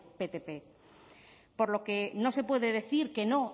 ptp por lo que no se puede decir que no